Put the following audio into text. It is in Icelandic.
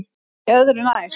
Nei öðru nær.